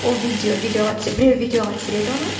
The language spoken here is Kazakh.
ол видео біреу видеоға түсіреді оны